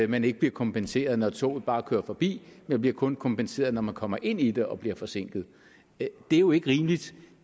man ikke bliver kompenseret når toget bare kører forbi men kun bliver kompenseret når man kommer ind i det og bliver forsinket det er jo ikke rimeligt